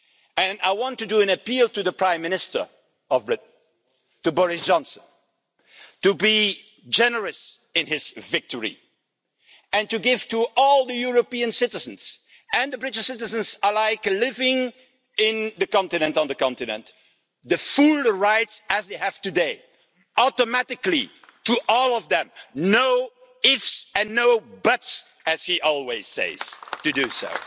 And I want to appeal to the Prime Minister of Britain, to Boris Johnson, to be generous in his victory and to give to all the European citizens and the British citizens alike, living on the continent the full rights as they have today automatically, to all of them, no ifs and no buts, as he always says, to do so.